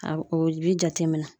A o bi jateminɛ.